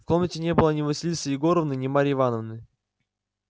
в комнате не было ни василисы егоровны ни марьи ивановны